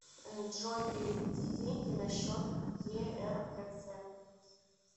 джой переведи деньги на счет еркц